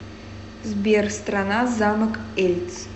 сбер страна замок эльц